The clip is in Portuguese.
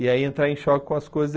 E aí entrar em choque com as coisas.